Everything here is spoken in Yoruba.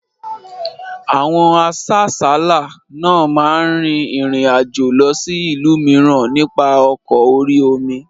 Àwọn asáàsálá náà máa rin ìrìn àjò lọ sí ìlú mìíràn nípa ọkọ̀ orí-omi